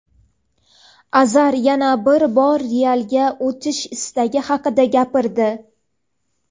Azar yana bir bor "Real"ga o‘tish istagi haqida gapirdi.